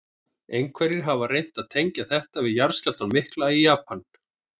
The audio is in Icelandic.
Einhverjir hafa reynt að tengja þetta við jarðskjálftann mikla í Japan.